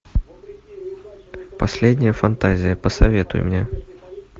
последняя фантазия посоветуй мне